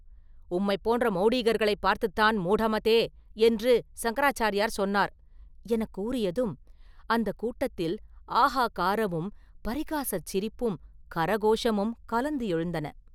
உம்மைப் போன்ற மௌடீகர்களைப் பார்த்துத்தான் ‘மூடமதே!’ என்று சங்கராச்சாரியார் சொன்னார்!” எனக் கூறியதும், அந்தக் கூட்டத்தில் ‘ஆஹா’ காரமும், பரிகாசச் சிரிப்பும் கரகோஷமும் கலந்து எழுந்தன.